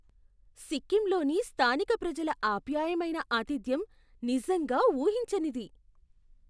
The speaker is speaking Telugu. సిక్కింలోని స్థానిక ప్రజల ఆప్యాయమైన ఆతిథ్యం నిజంగా ఊహించనిది.